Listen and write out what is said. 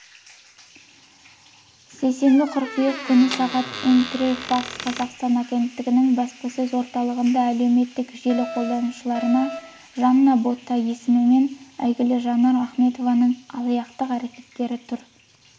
сейсенбі қыркүйек күні сағат интерфакс-қазақстан агенттігінің баспасөз орталығында әлеуметтік желі қолданушыларына жанна бота есімімен әйгілі жаннар ахметованың алаяқтық әрекеттері туралы баспасөз